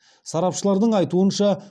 сарапшылардың айтуынша